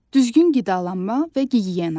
Düzgün qidalanma və gigiyena.